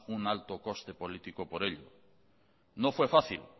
un alto coste político por ello no fue fácil